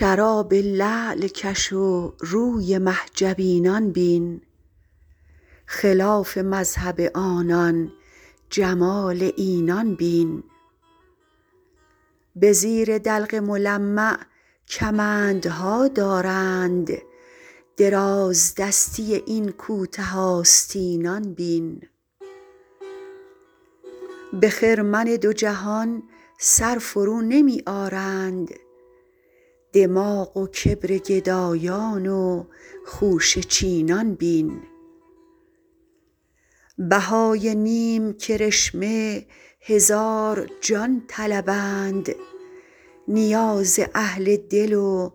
شراب لعل کش و روی مه جبینان بین خلاف مذهب آنان جمال اینان بین به زیر دلق ملمع کمندها دارند درازدستی این کوته آستینان بین به خرمن دو جهان سر فرونمی آرند دماغ و کبر گدایان و خوشه چینان بین بهای نیم کرشمه هزار جان طلبند نیاز اهل دل و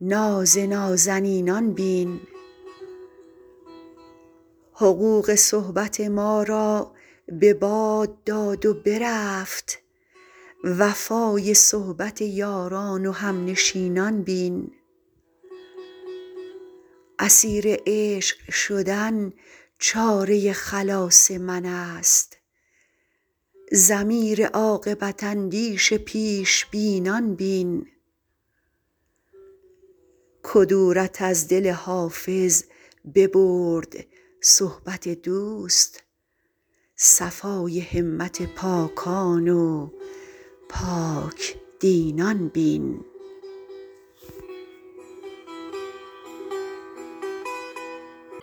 ناز نازنینان بین حقوق صحبت ما را به باد داد و برفت وفای صحبت یاران و همنشینان بین اسیر عشق شدن چاره خلاص من است ضمیر عاقبت اندیش پیش بینان بین کدورت از دل حافظ ببرد صحبت دوست صفای همت پاکان و پاک دینان بین